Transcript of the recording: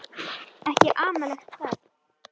Ekki amalegt það.